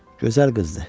Gözəl qızdır.